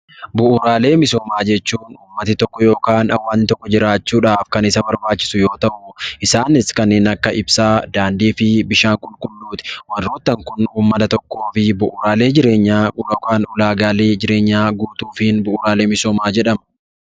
Bu'uuraalee misoomaa jechuun uummati tokko yookaan hawaasni tokko jiraachuudhaaf kan isa barbaachisu yoo ta'u, isaanis kanneen akka ibsaa, daandii fi bishaan qulqulluuti. Warroottan kun uummata tokkoo fi bu'uuraalee jireenyaa yookaan ulaagaalee jireenyaa guutuufiin bu'uuraalee misoomaa jedhamu.